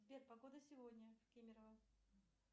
сбер погода сегодня в кемерово